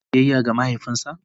Shin ya yi biyayya ga mahaifinsa?